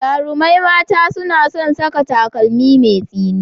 Jarumai mata suna son saka takalmi mai tsini.